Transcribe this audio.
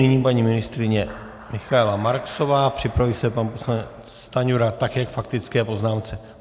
Nyní paní ministryně Michaela Marksová, připraví se pan poslanec Stanjura, také k faktické poznámce.